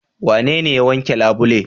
Wanene ya wanke labule.